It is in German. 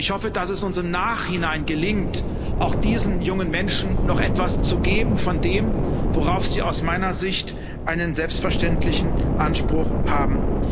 Ich hoffe, dass es uns im Nachhinein gelingt, auch diesen jungen Menschen noch etwas zu geben von dem, worauf sie aus meiner Sicht einen selbstverständlichen Anspruch haben.